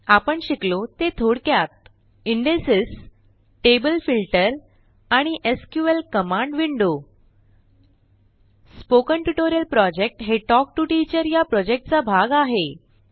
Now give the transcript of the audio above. आपण शिकलो ते थोडक्यात इंडेक्सेस टेबल फिल्टर आणि SQL command window spoken tutorial project हे टॉक टू टीचर या प्रॉजेक्टचा भाग आहे